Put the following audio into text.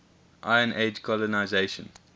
iron age colonisation